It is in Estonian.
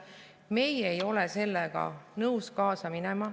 Meie ei ole sellega nõus kaasa minema.